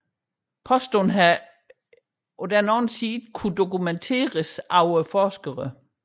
Påstanden har imidlertid ikke kunnet dokumenteres af forskere